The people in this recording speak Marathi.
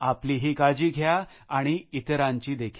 आपलीही काळजी घ्या आणि इतरांचीही